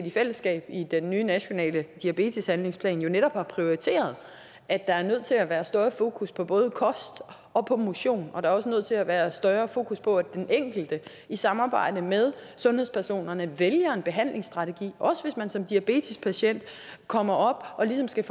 i fællesskab i den nye nationale diabeteshandlingsplan netop har prioriteret at der er nødt til at være større fokus på både kost og motion og der er også nødt til at være større fokus på at den enkelte i samarbejde med sundhedspersonerne vælger en behandlingsstrategi også hvis man som diabetespatient kommer og ligesom skal